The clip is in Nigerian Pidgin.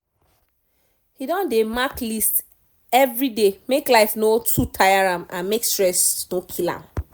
he don dey mark list everyday make life no too tire am and make stress no kill am